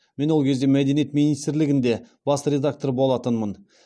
мен ол кезде мәдениет министрлігінде бас редактор болатынмын